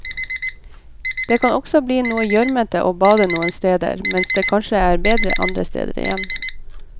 Det kan også bli noe gjørmete å bade noen steder, mens det kanskje blir bedre andre steder igjen.